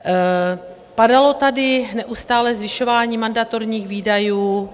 Padalo tady neustále zvyšování mandatorních výdajů.